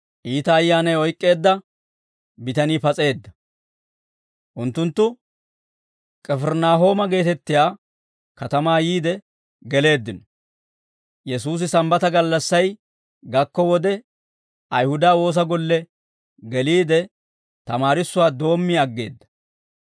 Unttunttu K'ifirinaahooma geetettiyaa katamaa yiide geleeddino; Yesuusi Sambbata gallassay gakko wode, Ayihuda woosa golle geliide, tamaarissuwaa doommi aggeedda.